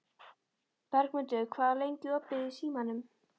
Bergmundur, hvað er lengi opið í Símanum?